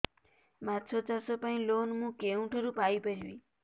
ମାଛ ଚାଷ ପାଇଁ ଲୋନ୍ ମୁଁ କେଉଁଠାରୁ ପାଇପାରିବି